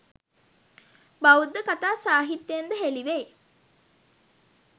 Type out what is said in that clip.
බෞද්ධ කථා සාහිත්‍යයෙන්ද හෙළිවෙයි.